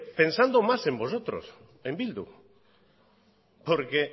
pensando más en vosotros en bildu porque